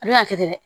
A bɛna kɛ ten dɛ